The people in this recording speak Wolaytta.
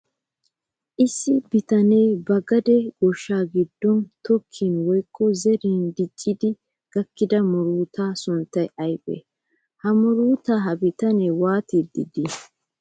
Issi bitanee ba gade goshshaa giddon tokkin woykko zerin diccidi gakkida murutaa sunttay aybee? Ha maruta ha bitanee waatiiddi de'ii?